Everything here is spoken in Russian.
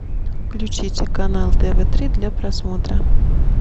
включите канал тв три для просмотра